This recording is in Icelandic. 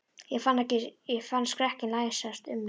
Ég fann skrekkinn læsast um mig.